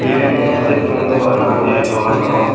yan olody ekkan dogan i ai dogananot.